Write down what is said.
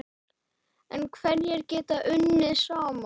En hverjir geta unnið saman?